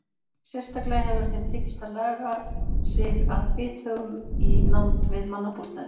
Sérstaklega hefur þeim tekist að laga sig að bithögum í nánd við mannabústaði.